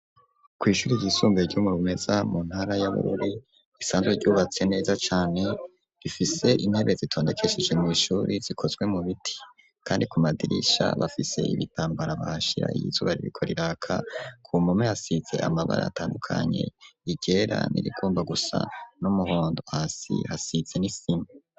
Kw'ishuri ryisunbuye ryo mu Rumeza mu ntara ya Bururi risanzwe ryubatse neza cane , rifise intebe zitondekesheje mw'ishuri zikozwe mu biti kandi ku madirisha bafise ibitambara bashira iyizuba ririko riraka ku mupome hasize amabara atandukanye: iryera irigomba gusa n'umuhondo , hasi hasize n'isima.